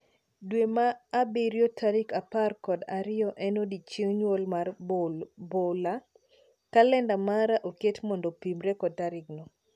Dwe mar abirio tarik apar kod ariyo en odiechieng' nyuol mar Bola, kalenda mara oket mondo opimre kod tarigni